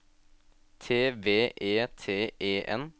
T V E T E N